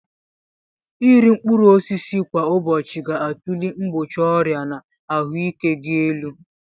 Iri mkpụrụ osisi kwa ụbọchị ga-atulie mgbochi ọrịa na ahụike gị elu.